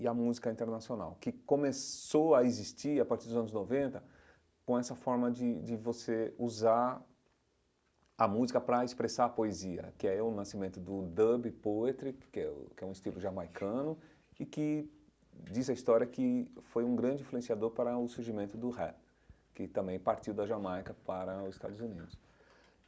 e a música internacional, que começou a existir a partir dos anos noventa, com essa forma de de você usar a música para expressar a poesia, que é o nascimento do dub poetry, que é um um estilo jamaicano, e que diz a história de que foi um grande influenciador para o surgimento do rap, que também partiu da Jamaica para os Estados Unidos.